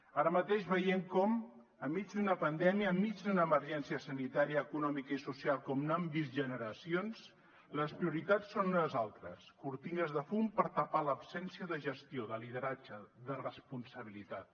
ara mateix veiem com enmig d’una pandèmia enmig d’una emergència sanitària econòmica i social com no han vist generacions les prioritats són unes altres cortines de fum per tapar l’absència de gestió de lideratge de responsabilitat